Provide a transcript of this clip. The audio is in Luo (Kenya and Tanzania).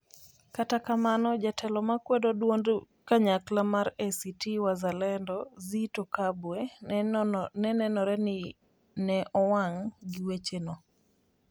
Kata kamano, jatelo ma kwedo duond duond duond kanyakla mar ACT Wazalendo, Zitto Kabwe, ne nenore ni ne owang' gi weche no.